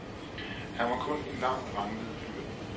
Han var kun en lang ranglet fyr.